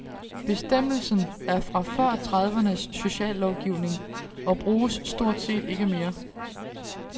Bestemmelsen er fra før tredivernes sociallovgivning og bruges stort set ikke mere.